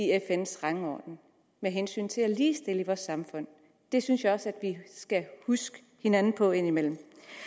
fns rangorden med hensyn til at ligestille i vores samfund det synes jeg også at vi skal huske hinanden på indimellem